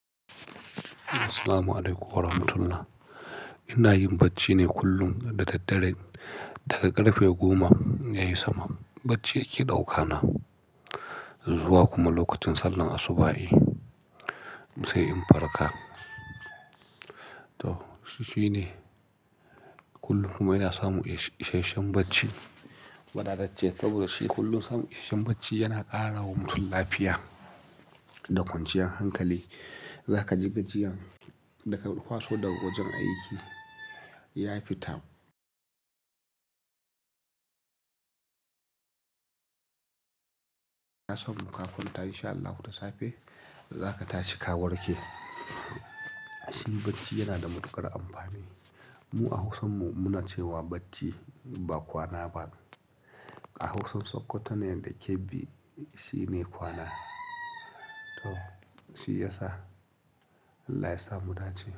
Assalamualaikum warahmatullah. Ina yin bacci ne kullum da daddare daga ƙarfe goma ya yi sama. Bacci yake ɗauka na, zuwa kuma lokacin sallar asubahi sai in farka. To, shi shine. Kullum kuma ina samun isheshen bacci, wadatacce saboda shi kullum samun isheshen bacci yana ƙara wa mutum lafiya da kwanciyar hankali. Zaka ji gajiya daka kwaso daga wajen aiki, ya fita. Ka samu ka kwanta in sha Allahu da safe, zaka tashi ka warke. Shi bacci yana da matuƙar amfani. Mu a Hausan mu muna cewa bacci ba kwana ba. A Hausan Sokoto ne da Kebbi shi ne kwana. To, shi ya sa Allah ya sa mu dace.